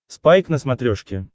спайк на смотрешке